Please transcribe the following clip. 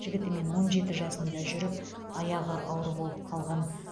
жігітімен он жеті жасында жүріп аяғы ауыр болып қалған